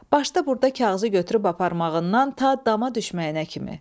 Başda burda kağızı götürüb aparmağından ta dama düşməyinə kimi.